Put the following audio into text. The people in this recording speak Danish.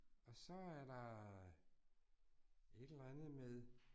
Og så er der et eller andet med